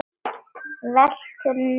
Veltur niður á gólf.